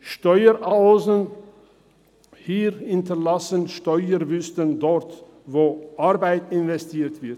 Steueroasen hier hinterlassen Steuerwüsten dort, wo Arbeit investiert wird.